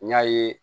N y'a ye